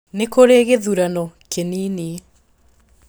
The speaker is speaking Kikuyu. Nĩ kũrĩ gĩthurano kĩnini.